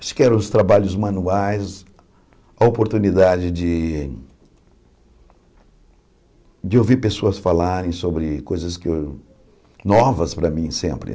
Acho que eram os trabalhos manuais, a oportunidade de de ouvir pessoas falarem sobre coisas que eu novas para mim sempre.